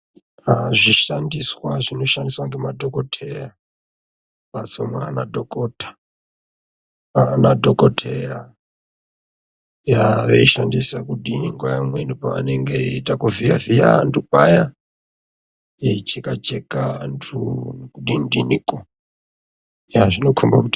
Aaa zvishandiswa zvinoshandiswa ngemadhokoteya mumphatso mwaanadhokota, mwaanadhokoteya yaa veishandisa kudini nguwa imweni pavanenge veiita kuvhiya vhiya vantu paya. Veicheka cheka vantu nekudini dinikwo yaa zvinokombe kuti.